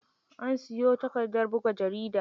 An siyo takardar buga jarida.